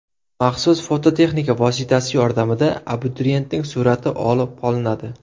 Maxsus foto-texnika vositasi yordamida abituriyentning surati olib qolinadi.